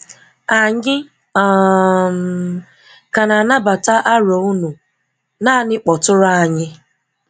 Anyị um ka na anabata aro unu, naanị kpọtụrụ anyị